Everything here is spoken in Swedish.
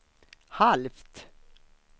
halvt